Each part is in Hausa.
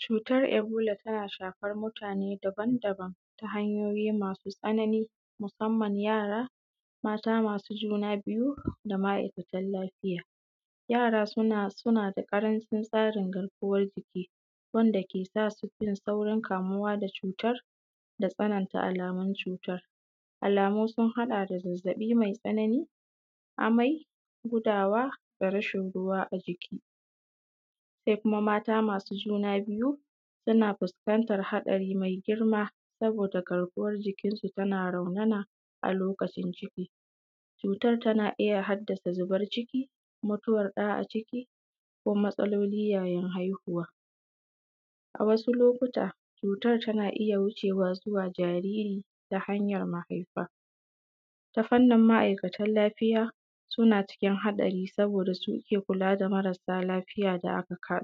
Cutar ebola tana shafan mutane daban daban ta hanyoyi masu tsananin musamman yara mata masu juna biju da ma’aikatan lafiya jara suna da ƙaracin tsarin garkuwan jiki wanda ke sa su saurin kamuwa da cutar da tsananta alamun cutar alamu sun haɗa da zazzaɓi mai tsanani amai gudawa da racin ruwa a jiki sai kuma mata masu juna biju suna fuskantar haɗari mai girma saboda garkuwan jiki su ta na raunana a lokacin ciki cutar tana iya haddasa zubar ciki mutuwar ɗa a ciki ko matsaloli yayin haihuwa a wasu lokuta cutar tana iya haifar wa zuwa ga jariri ta hanjar mahaifa ta fannin ma’aikatan lafiya suna cikin haɗari saboda su ke kula da marasa lafiya da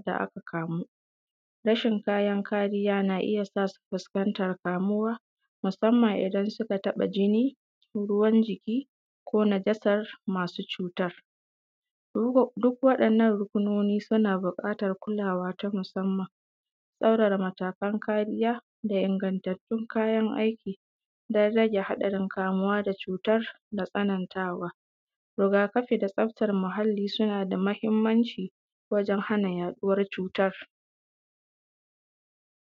aka kamu racin wajen kariya na iya sa su sun fuskanta kamuwa musamman idan suka taɓa jini ruwan jiki ko nazasar masu cutar duk waɗannan ruƙunoni suna buƙatan kulawa ta musamman tsaurara matakan karija da ingantattun kayan aiki dan rage haɗari kamuwa da cutar da tsanantawa rigafin da tsaftan muhalli suna da mahimmanci wajen hana haihuwar cutar